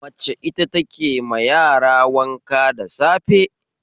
Mace ita take ma yara wanka da safe